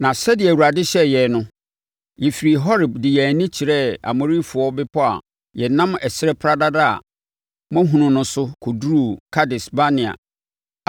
Na sɛdeɛ Awurade hyɛɛ yɛn no, yɛfirii Horeb de yɛn ani kyerɛɛ Amorifoɔ bepɔ a yɛnam ɛserɛ pradada a moahunu no so kɔduruu Kades-Barnea.